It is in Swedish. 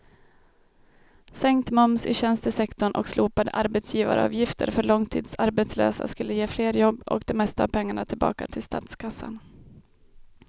Sänkt moms i tjänstesektorn och slopade arbetsgivaravgifter för långtidsarbetslösa skulle ge fler jobb och det mesta av pengarna tillbaka till statskassan.